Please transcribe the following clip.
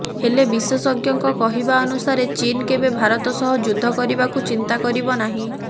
ହେଲେ ବିଶେଷଜ୍ଞଙ୍କ କହିବା ଅନୁସାରେ ଚୀନ୍ କେବେ ଭାରତ ସହ ଯୁଦ୍ଧ କରିବାକୁ ଚିନ୍ତା କରିବ ନାହିଁ